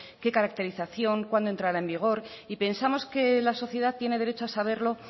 qué caracterización cuándo entrará en vigor y pensamos que la sociedad tiene derecho a saberlo